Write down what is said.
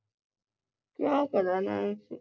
ਵਿਆਹ ਕਰਾਨਾ ਈ ਸੀ